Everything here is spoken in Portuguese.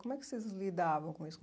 Como é que vocês lidavam com isso?